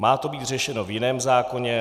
Má to být řešeno v jiném zákoně.